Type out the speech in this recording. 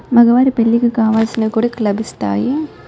మగవారి పెళ్లికి కావలసినవి కూడా ఇక లభిస్తాయి.